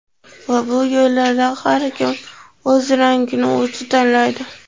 Va bu yo‘llarda har kim o‘z rangini o‘zi tanlaydi.